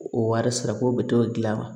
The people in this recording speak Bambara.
O wari sara ko bɛ t'o dilan